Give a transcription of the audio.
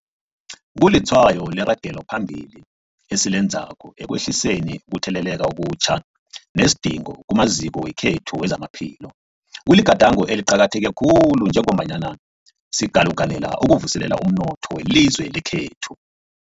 Kulitshwayo leragelo phambili esilenzako ekwehliseni ukutheleleka okutjha nesidingo kumaziko wethu wezamaphilo. Kuligadango eliqakatheke khulu njengombana sikalukanela ukuvuselela umnotho welizwe lekhethu.